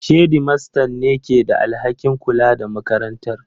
Shedimastan ne ke da alhakin kula da makarantar.